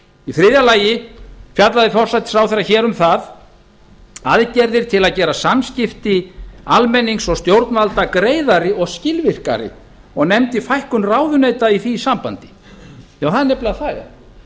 í þriðja lagi fjallar forsætisráðherra hér um aðgerðir til að gera samskipti almennings og stjórnvalda greiðari og skilvirkari og nefnir fækkun ráðuneyta í því sambandi það er nefnilega það